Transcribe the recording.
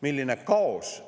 Milline kaos!